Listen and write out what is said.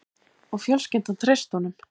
Og fjölskyldan treysti honum